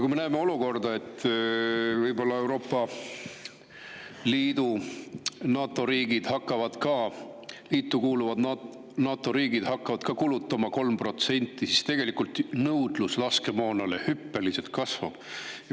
Kui Euroopa Liidu ja NATO riigid hakkavad võib-olla kulutama 3%, siis nõudlus laskemoona järele hüppeliselt kasvab.